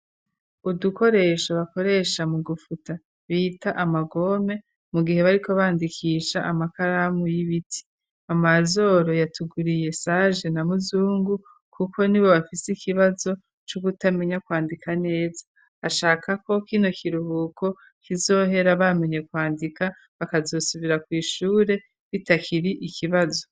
Udukoresho bakoresha mu gufuta bita amagome mu gihe bariko bandikisha amakaramu y'ibiti, Amazoro yatuguriye Sage na Muzungu kuko nibo bafise ikibazo co kutamenya kwandika neza, ashaka ko kino kiruhuko kizohera bamenye kwandika bakazosubira ku ishure bitakiri ikibazo.